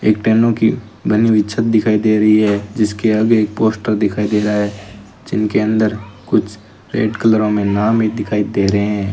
एक टेनो की बनी हुई छत दिखाई दे रही है जिसके आगे एक पोस्टर दिखाई दे रहा है जिनके अंदर कुछ रेड कलरो मे नाम ही दिखाई दे रहे हैं।